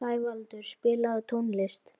Sævaldur, spilaðu tónlist.